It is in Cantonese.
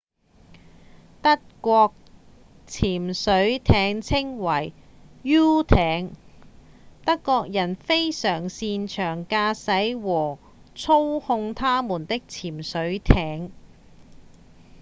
德國潛水艇稱為「u 艇」德國人非常擅長駕駛和操控他們的潛水艇